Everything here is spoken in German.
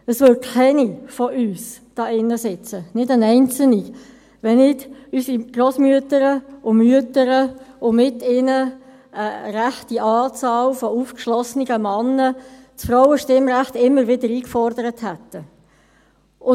Es würde keine von uns hier im Saal sitzen, keine einzige, wenn nicht unsere Grossmütter und Mütter und mit ihnen eine erhebliche Anzahl von aufgeschlossenen Männern das Frauenstimmrecht immer wieder eingefordert hätten.